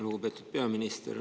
Lugupeetud peaminister!